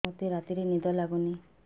ମୋତେ ରାତିରେ ନିଦ ଲାଗୁନି